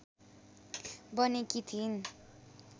बनेकी थिइन्